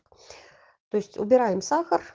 то есть убираем сахар